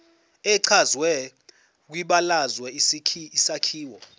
echazwe kwibalazwe isakhiwo